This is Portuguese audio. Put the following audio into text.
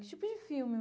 Que tipo de filme?